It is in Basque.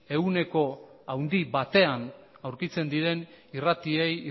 ehuneko handi batean aurkitzen diren irratiei